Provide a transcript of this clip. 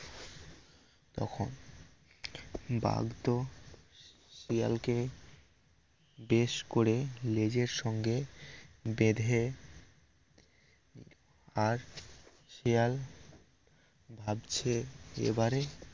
বাঘ তো শিয়াল কে বেশ করে লেজের সঙ্গে বেধে আর শিয়াল ভাবছে এবারে